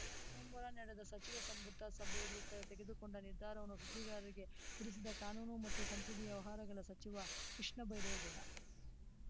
ಸೋಮವಾರ ನಡೆದ ಸಚಿವ ಸಂಪುಟ ಸಭೆಯಲ್ಲಿ ತೆಗೆದುಕೊಂಡ ನಿರ್ಧಾರವನ್ನು ಸುದ್ದಿಗಾರರಿಗೆ ತಿಳಿಸಿದ ಕಾನೂನು ಮತ್ತು ಸಂಸದೀಯ ವ್ಯವಹಾರಗಳ ಸಚಿವ ಕೃಷ್ಣ ಬೈರೇಗೌಡ